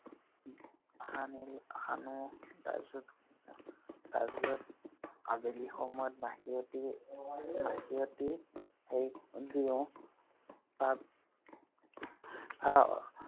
সানি সানো। তাৰপিছত তাৰপিছত আবেলি সময়ত মাখিয়তী, মাখিয়তী দিওঁ। তাৰ